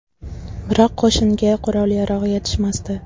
Biroq qo‘shinga qurol-yarog‘ yetishmasdi.